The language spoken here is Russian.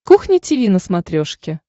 кухня тиви на смотрешке